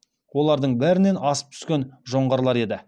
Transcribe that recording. олардың бәрінен асып түскен жоңғарлар еді